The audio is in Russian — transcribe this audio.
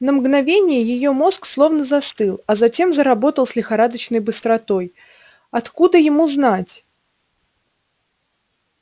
на мгновение её мозг словно застыл а затем заработал с лихорадочной быстротой откуда ему знать